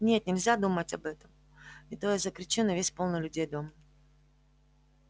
нет нельзя думать об этом не то я закричу на весь полный людей дом